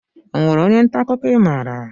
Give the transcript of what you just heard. Onwere ónyé nta akụkọ i maara?